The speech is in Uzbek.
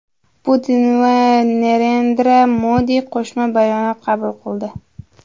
Putin va Narendra Modi qo‘shma bayonot qabul qildi.